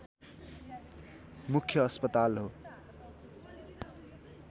मुख्य अस्पताल हो